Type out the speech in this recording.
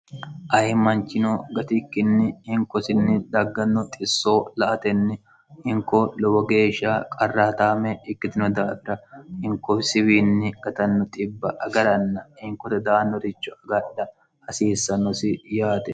ayimmanchino gatikkinni hinkosinni dagganno xissoo la atenni hinko lowo geeshsha qarraataame ikkitino daafira hinko siwiinni gatanno xibb agaranna hinkote daannoricho agadha hasiissannosi yaate